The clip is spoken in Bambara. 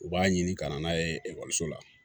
U b'a ɲini ka na n'a ye ekɔliso la